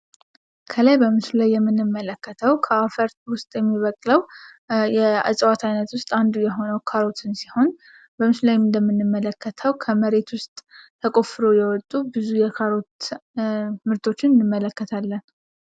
ከላይ በምስሉ ላይ የምንመለከተው ከአፈር ውስጥ የሚበቅለው የእፅዋት አይነት ውስጥ አንዱ የሆነው ካሮትን ሲሆን በምስሉ ላይ እንደምንመለከተው ከመሬት ውስጥ ተቆፍረው የወጡ ብዙ የካሮት ምርቶችን እንመለከታለን።